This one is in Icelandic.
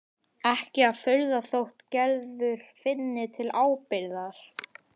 Ekki að furða þótt Gerður finni til ábyrgðar.